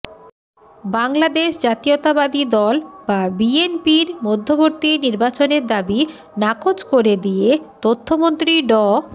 বাংলাদেশ জাতীয়তাবাদী দল বা বিএনপির মধ্যবর্তী নির্বাচনের দাবি নাকচ করে দিয়ে তথ্যমন্ত্রী ড